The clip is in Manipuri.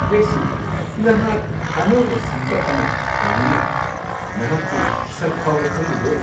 ꯍꯦ ꯁꯨꯙꯥ, ꯅꯍꯥꯛ ꯑꯅꯧꯕ ꯁꯝꯀꯛ ꯑꯃ ꯇꯧꯋꯤꯅꯥ! ꯅꯍꯥꯛꯄꯨ ꯁꯛ ꯐꯥꯎꯕ ꯈꯪꯂꯨꯗ꯭ꯔꯦ!